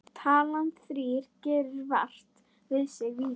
Talan þrír gerir vart við sig víða.